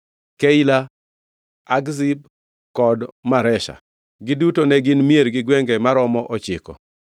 Keila, Akzib kod Maresha. Giduto ne gin mier gi gwenge maromo ochiko.